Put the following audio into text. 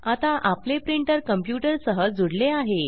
आता आपले printer computer सह जुडले आहे